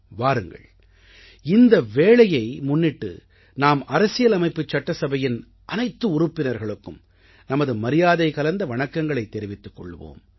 வாருங்கள் இந்த வேளையை முன்னிட்டு நாம் அரசியலமைப்புச் சட்டசபையின் அனைத்து உறுப்பினர்களுக்கும் நமது மரியாதைகலந்த வணக்கங்களைத் தெரிவித்துக் கொள்வோம்